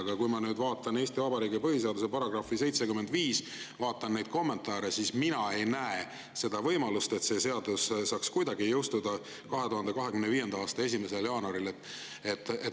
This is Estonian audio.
Aga kui ma vaatan Eesti Vabariigi põhiseaduse § 75, vaatan neid kommentaare, siis mina ei näe seda võimalust, et see seadus saaks kuidagi jõustuda 2025. aasta 1. jaanuaril.